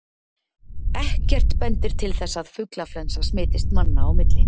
Ekkert bendir til þess að fuglaflensa smitist manna á milli.